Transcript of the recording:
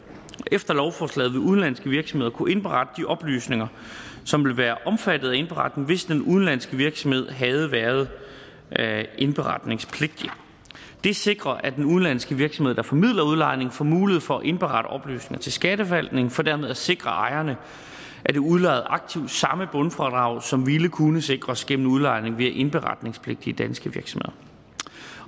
efter lovforslaget vil udenlandske virksomheder kunne indberette de oplysninger som vil være omfattet af indberetning hvis den udenlandske virksomhed havde været indberetningspligtig det sikrer at den udenlandske virksomhed der formidler udlejning får mulighed for at indberette oplysninger til skatteforvaltningen for dermed at sikre ejerne af det udlejede aktiv det samme bundfradrag som ville kunne sikres gennem udlejning via indberetningspligtige danske virksomheder